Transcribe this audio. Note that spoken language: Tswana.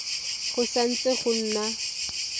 go sa ntse go na